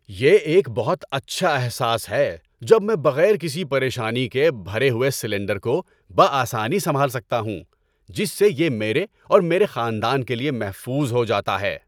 یہ ایک بہت اچھا احساس ہے جب میں بغیر کسی پریشانی کے بھرے ہوئے سلنڈر کو بہ آسانی سنبھال سکتا ہوں، جس سے یہ میرے اور میرے خاندان کے لیے محفوظ ہو جاتا ہے۔